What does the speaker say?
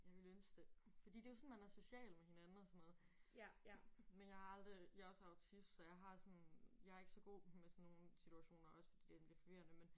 Jeg ville ønske det. Fordi det jo sådan man er social med hinanden og sådan noget. Men jeg har aldrig jeg er også autist så jeg har sådan jeg er ikke så god med sådan nogle situationer også fordi det er lidt forvirrende men